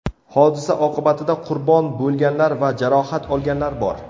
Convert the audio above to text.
Hodisa oqibatida qurbon bo‘lganlar va jarohat olganlar bor.